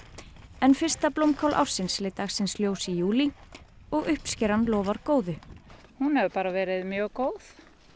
en fyrsta blómkál ársins leit dagsins ljós í júlí og uppskeran lofar góðu hún hefur bara verið mjög góð